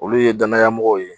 Olu ye danayamɔgɔ ye